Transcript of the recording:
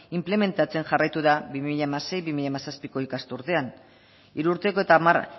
inplementatzen jarraitu da bi mila hamasei bi mila hamazazpiko ikasturtean hiru urteko eta hamar